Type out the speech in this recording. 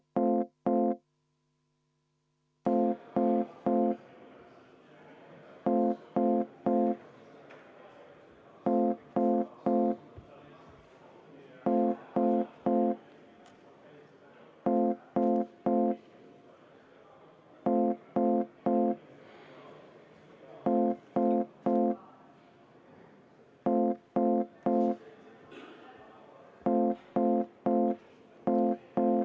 V a h e a e g